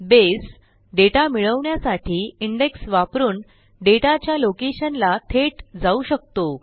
बसे data मिळवण्यासाठी indexवापरून डेटाच्या लोकेशन ला थेट जाऊ शकतो